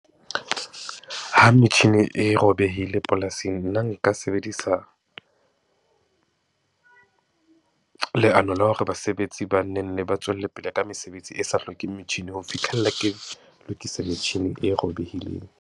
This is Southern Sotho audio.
Ha metjhini e robehile polasing, nna nka sebedisa leano la hore basebetsi ba nnenne ba tswelle pele ka mesebetsi e sa hlokeng metjhini. Ho fihlella ke lokisa metjhini e robehileng.